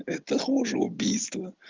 это хуже убийства